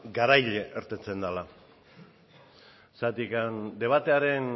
garaile irteten dela zergatik debatearen